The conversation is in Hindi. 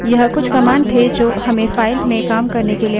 यह कुछ commands थे जो हमें files में काम करने के लिए मदद करती हैं